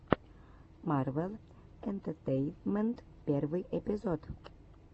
марвел энтетейнмент первый эпизод